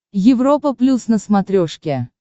европа плюс на смотрешке